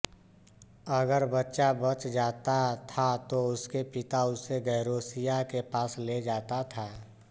अगर बच्चा बच जाता था तो उसके पिता उसे गेरौसिया के पास ले जाता था